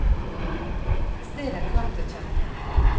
Stedet er knapt til å kjenne igjen.